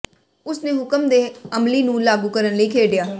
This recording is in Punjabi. ਉਸ ਨੇ ਹੁਕਮ ਦੇ ਅਮਲੀ ਨੂੰ ਲਾਗੂ ਕਰਨ ਲਈ ਖੇਡਿਆ